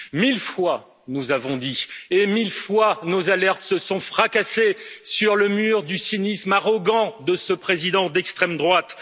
Mille fois nous l'avons dit et mille fois nos alertes se sont fracassées sur le mur du cynisme arrogant de ce président d'extrême droite.